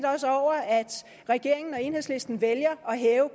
også over at regeringen og enhedslisten vælger at hæve